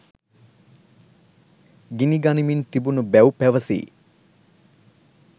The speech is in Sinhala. ගිනිගනිමින් තිබුණු බැව් පැවසේ